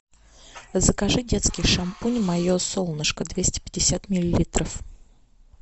закажи детский шампунь мое солнышко двести пятьдесят миллилитров